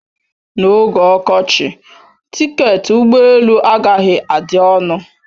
N'oge ọkọchị, tiketi ụgbọ elu agaghị adị ọnụ